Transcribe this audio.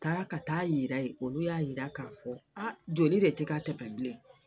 Taara ka taa'a yira olu y'a yira k'a fɔ joli de tɛ ka tɛmɛ bilen